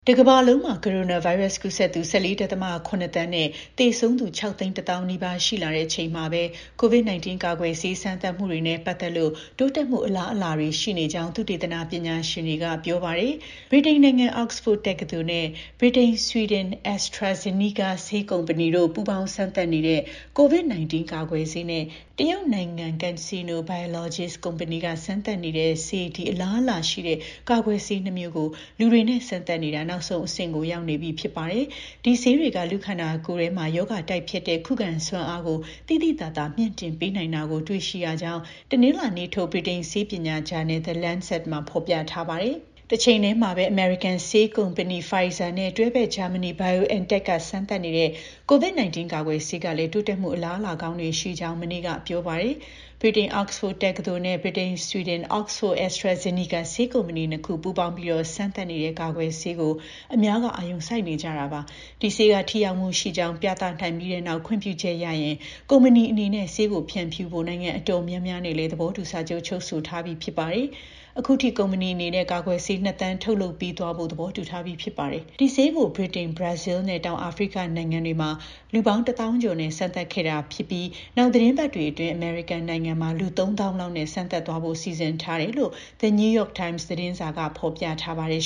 တကမ္ဘာလုံး ကိုရိုနာဗိုင်းရပ်စ် ကူးစက်သူ ၁၄.၇ သန်းနဲ့ သေဆုံးသူ ၆၁၀,၀၀၀ နီးပါးရှိလာချိန်မှာပဲ COVID - 19 ကာကွယ်ဆေး စမ်းသပ်မှုတွေနဲ့ ပတ်သက်လို့ တိုးတက်မှု အလားအလာတွေရှိနေကြောင်း သုတေသနပညာရှင်တွေက ပြောပါတယ်။ ဗြိတိန်နိုင်ငံ Oxford တက္ကသိုလ် နဲ့ ဗြိတိန်-ဆွီဒင် AstraZeneca ဆေးကုမ္ပဏီပူးပေါင်းစမ်းသပ်နေတဲ့ COVID - 19 ကာကွယ်ဆေးနဲ့ တရုတ်နိုင်ငံ CanSino Biologics ဆေးကုမ္ပဏီက စမ်းသပ်နေတဲ့ဆေး ဒီ အလားအလာရှိတဲ့ ကာကွယ်ဆေး နှစ် မျိုးကို လူတွေနဲ့ စမ်းသပ်နေတာ နောက်ဆုံး အဆင့်ကို ရောက်နေပြီဖြစ်ပါတယ်။ ဒီ ဆေးတွေက လူခန္ဒာကိုယ်ထဲ ရောဂါတိုက်ဖျက်တဲ့ ခုခံစွမ်းအားကို သိသိသာသာ မြှင့်တင်ပေးနိုင်တာကို လေ့လာတွေ့ရှိရကြောင်း တနင်္လာနေ့ထုတ် ဗြိတိန် ဆေးပညာဂျာနယ် The Lancet မှာ ဖော်ပြပါတယ်။ တချိန်ထဲမှာပဲ အမေရိကန် ဆေးကုမ္ပဏီ Pfizer နဲ့ တွဲဘက် ဂျာမဏီ BioNTech ကစမ်းသပ်နေတဲ့ COVID - 19 ကာကွယ်ဆေးကလည်း တိုးတက်မှု အလားအလာကောင်းတွေ ရှိကြောင်း မနေ့က ပြောပါတယ်။ ဗြိတိန် Oxford တက္ကသိုလ်နဲ့ ဗြိတိန်-ဆွီဒင် Oxford - AstraZeneca ဆေးကုမ္ပဏီ နှစ် ခုပူးပေါင်း စမ်းသပ်နေတဲ့ ကာကွယ်ဆေးကို အများက အာရုံစိုက်နေကြတာပါ။ ဒီဆေးက ထိရောက်မှုရှိကြောင်း ပြသနိုင်ပြီးနောက် ခွင့်ပြုချက်ရရင် ကုမ္ပဏီအနေနဲ့ ဆေးကို ဖြန့်ဖြူးဖို့ နိုင်ငံအတော်များများနဲ့လည်း သဘောတူ စာချုပ်ချုပ်ဆိုထားပြီးဖြစ်ပါတယ်။ အခုထိ ကုမ္ပဏီအနေနဲ့ ကာကွယ်ဆေး ၂၀၀၀,၀၀၀ ထုတ်လုပ်ပေးသွားဖို့ သဘောတူထားပြီးဖြစ်ပါတယ်။ ဒီဆေးကို ဗြိတိန်၊ ဘရာဇီးနဲ့ တောင်အာဖရိကနိုင်ငံတွေမှာ လူ ၁၀,၀၀၀ ကျော်နဲ့ စမ်းသပ်ခဲ့တာဖြစ်ပြီး နောက်သီတင်းပတ်အတွင်း အမေရိကန်နိုင်ငံမှာ လူ ၃၀,၀၀၀ လောက်နဲ့ စမ်းသပ်သွားဖို့ စီစဉ်ထားတယ်လို့ The New York Times သတင်းစာက ဖော်ပြထားပါတယ်